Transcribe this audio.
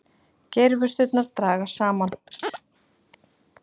Geirvörturnar dragast saman.